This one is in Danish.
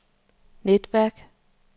netværk